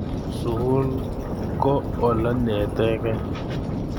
Sukul ko olenietekei